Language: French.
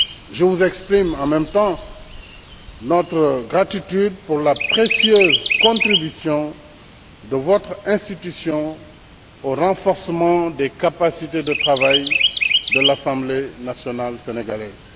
Je vous exprime en même temps notre gratitude pour la précieuse contribution de votre institution au renforcement des capacités de travail de l'assemblée nationale sénégalaise.